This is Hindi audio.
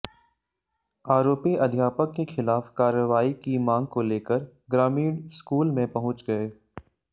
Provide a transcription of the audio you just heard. आरोपी अध्यापक के खिलाफ कार्रवाई की मांग को लेकर ग्रामीण स्कूल में पहुंच गए